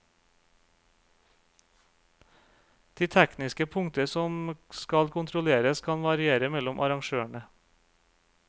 De tekniske punkter som skal kontrolleres kan variere mellom arrangørene.